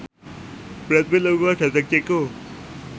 Brad Pitt lunga dhateng Ceko